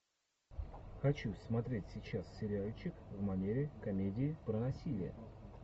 хочу смотреть сейчас сериальчик в манере комедии про насилие